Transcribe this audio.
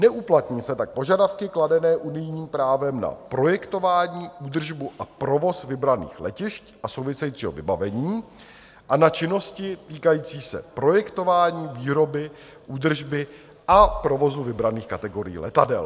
Neuplatní se tak požadavky kladené unijním právem na projektování, údržbu a provoz vybraných letišť a souvisejícího vybavení a na činnosti týkající se projektování výroby, údržby a provozu vybraných kategorií letadel.